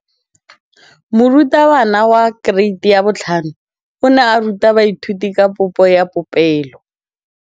Moratabana wa kereiti ya 5 o ne a ruta baithuti ka popô ya polelô.